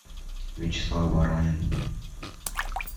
вячеслав воронин